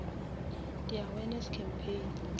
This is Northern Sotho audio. di awareness campaign